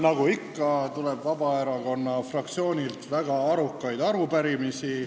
Nagu ikka, tuleb Vabaerakonna fraktsioonilt väga arukaid arupärimisi.